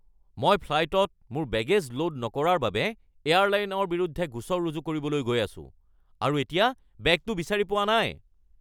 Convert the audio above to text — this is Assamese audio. মই ফ্লাইটত মোৰ বেগে'জ লোড নকৰাৰ বাবে এয়াৰলাইনৰ বিৰুদ্ধে গোচৰ ৰুজু কৰিবলৈ গৈ আছোঁ আৰু এতিয়া বেগটো বিচাৰি পোৱা নাই। (গ্ৰাহক)